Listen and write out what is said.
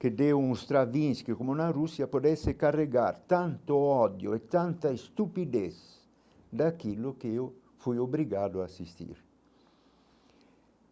que deu uns que, como na Rússia, pudesse carregar tanto o ódio e tanta estupidez daquilo que eu fui obrigado a assistir.